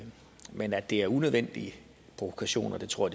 men at det er unødvendige provokationer tror